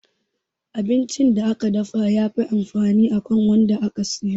Abincin da aka dafa ya fi amfani akan wanda aka soya